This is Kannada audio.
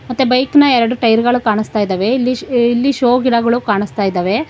ಮತ್ತೆ ಬೈಕ್ನ ಎರಡು ಟೈರ್ಗಳು ಕಾಣಿಸ್ತಾ ಇದ್ದಾವೆ ಇಲ್ಲಿ ಇಲ್ಲಿ ಶೋ ಗಿಡಗಳು ಕಾಣಿಸ್ತಾ ಇದಾವೆ.